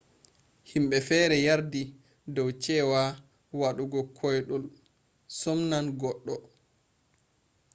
himbe fere yardi dou ce wa wadugo kwoidul sumnan gogdo